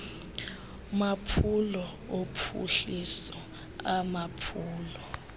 maphulo ophuhliso amaphulo